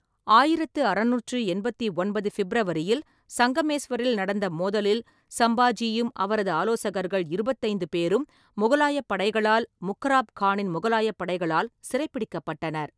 ஆயிரத்து அறுநூற்று எண்பத்தி ஒன்பது ஃபிப்ரவரியில் சங்கமேஸ்வரில் நடந்த மோதலில் சம்பாஜியும் அவரது ஆலோசகர்கள் இருபத்தைந்து பேரும் முகலாயப் படைகளால் முக்கராப் கானின் முகலாயப் படைகளால் சிறைபிடிக்கப்பட்டனர்.